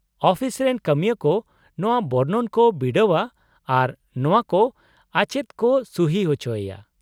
-Office ᱨᱮᱱ ᱠᱟᱹᱢᱤᱭᱟᱹ ᱠᱚ ᱱᱚᱶᱟ ᱵᱚᱨᱱᱚᱱ ᱠᱚ ᱵᱤᱰᱟᱹᱣᱼᱟ ᱟᱨ ᱱᱚᱶᱟ ᱠᱚ ᱟᱪᱮᱫ ᱠᱚ ᱥᱩᱦᱤ ᱚᱪᱚᱭᱮᱭᱟ ᱾